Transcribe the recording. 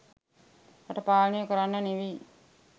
රට පාලනය කරන්න නෙවෙයි